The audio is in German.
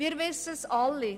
Wir wissen es alle: